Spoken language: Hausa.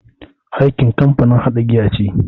Heineken kamfanin haɗa giya ne.